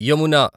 Yamuna